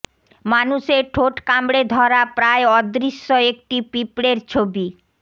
মানুষের ঠোঁট কামড়ে ধরা প্রায় অদৃশ্য একটি পিঁপড়ের ছবি